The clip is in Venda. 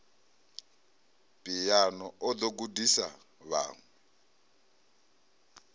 phiano o ḓo gudisa vhaṅwe